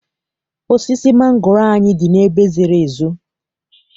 Osisi mangoro anyị dị n'ebe zoro ezo.